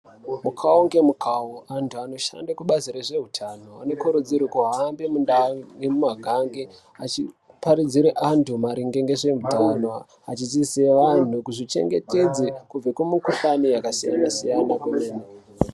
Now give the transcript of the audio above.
Mukavo ngemukavo antu anoshande kubazi rezveutano anokurudzirwe kuhamba mundau nemumagange achiparidzirwe antu maringe ngezveutano. Achidzidzise antu kuzvichengetedze kubve kumikuhlani yakasiyana-siyana kwemene.